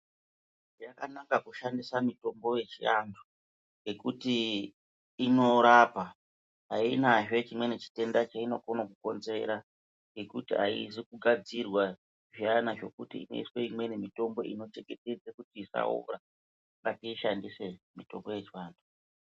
Yakanaka kushandisa mitombo yechiantu ngekuti inorapa. Hainazve chimweni chitenda cheinokona kukonzera ngekuti haizi kugadzirwa zviyana zvokuti inoiswe imweni mitombo inochengetedze kuti isaora. Ngatiishandise mitombo yechivantu.